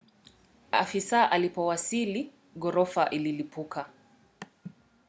afisa alipowasili ghorofa ililipuka